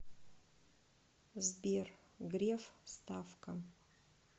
сбер греф ставка